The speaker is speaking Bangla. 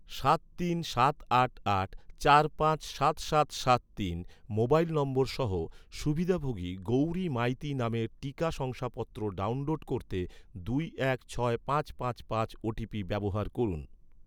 সাত তিন সাত আট আট চার পাঁচ সাত সাত সাত তিন মোবাইল নম্বর সহ, সুবিধাভোগী গৌরী মাইতি নামের টিকা শংসাপত্র ডাউনলোড করতে, দুই এক ছয় পাঁচ পাঁচ পাঁচ ওটিপি ব্যবহার করুন